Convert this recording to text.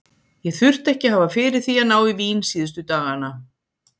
Ég þurfti ekki að hafa fyrir því að ná í vín síðustu dagana.